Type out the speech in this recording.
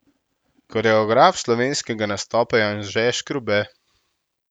Koreograf slovenskega nastopa je Anže Škrube.